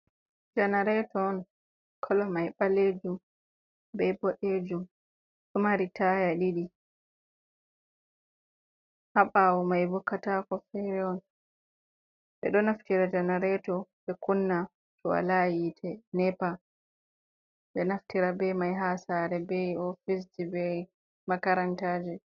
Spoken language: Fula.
Janareto on, kolo mai ɓalejum be boɗejum, ɗomari taya ɗiɗi, haɓawo mai bo katako fere on, ɓe ɗo naftira janareto ɓe kunna to wola hite nepa, ɓe nafitira be mai ha sare, be ofisji, be makaranta ji.